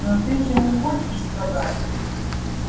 ну ты же не хочешь сказать